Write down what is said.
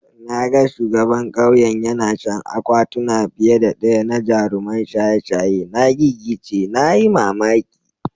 Na ga shugaban kauyen yana shan akwatuna fiye da daya na jaruman shaye-shaye. Na gigice (na yi mamaki.